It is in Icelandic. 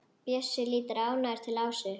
Bjössi lítur ánægður til Ásu.